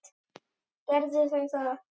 Gerðu þau það.